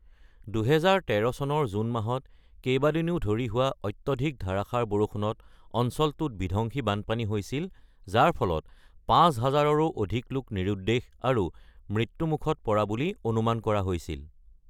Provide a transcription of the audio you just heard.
২০১৩ চনৰ জুন মাহত কেইবাদিনো ধৰি হোৱা অত্যধিক ধাৰাসাৰ বৰষুণত অঞ্চলটোত বিধ্বংসী বানপানী হৈছিল, যাৰ ফলত ৫০০০ৰো অধিক লোক নিৰুদ্দেশ আৰু মৃত্যুমুখত পৰা বুলি অনুমান কৰা হৈছিল।